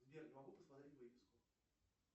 сбер не могу посмотреть выписку